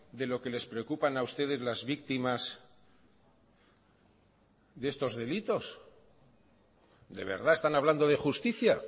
de lo que les preocupan a ustedes las víctimas de estos delitos de verdad están hablando de justicia